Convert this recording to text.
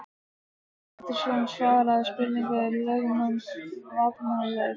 Björn Pétursson svaraði spurningum lögmanns vafningalaust.